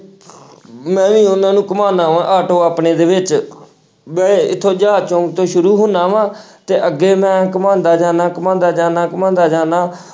ਮੈਂ ਵੀ ਉਹਨਾਂ ਨੂੰ ਘੁੰਮਾਉਨਾ ਵਾਂ ਆਟੋ ਆਪਣੇ ਦੇ ਵਿੱਚ ਮੈਂ ਇੱਥੋਂ ਜਹਾਜ਼ ਚੌਂਕ ਤੋਂ ਸ਼ੁਰੂ ਹੁੰਦਾ ਵਾਂ ਤੇ ਅੱਗੇ ਮੈਂ ਘੁਮਾਉਂਦਾ ਜਾਨਾ, ਘੁਮਾਉਂਦਾ ਜਾਨਾ, ਘੁਮਾਉਂਦਾ ਜਾਨਾ।